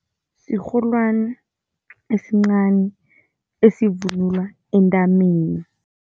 Sirholwani esincani, esivunulwa entameni.